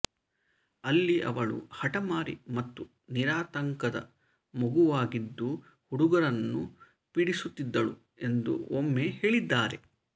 ಅಲ್ಲಿ ಅವಳು ಹಠಮಾರಿ ಮತ್ತು ನಿರಾತಂಕದ ಮಗುವಾಗಿದ್ದು ಹುಡುಗರನ್ನು ಪೀಡಿಸುತ್ತಿದ್ದಳು ಎಂದು ಒಮ್ಮೆ ಹೇಳಿದ್ದಾರೆ